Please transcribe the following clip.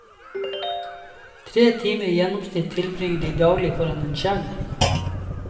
Tre timer i gjennomsnitt tilbringer de daglig foran en skjerm.